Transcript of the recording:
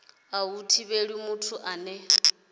a hu thivheli muthu ane